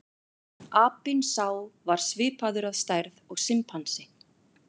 Apinn sá var svipaður að stærð og simpansi.